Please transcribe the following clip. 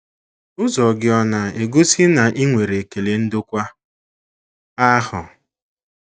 Ụzọ gị ọ̀ na - egosi na i nwere ekele ndokwa ahụ?